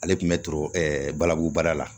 Ale tun bɛ turu ɛɛ balabu baara la